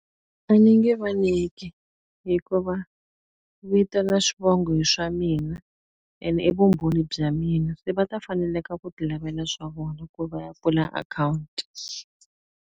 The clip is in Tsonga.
A ndzi nge va nyiki. Hikuva vito na xivongo hi swa mina, ene i vumbhoni bya mina. Se va ta fanela ku ti lavela swa vona, ku va ya pfula akhawunti.